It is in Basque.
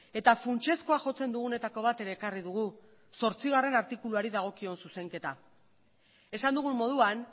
eta funtsezkoa jotzen dugunetako bat ere ekarri dugu zortzigarrena artikuluari dagokion zuzenketa esan dugun moduan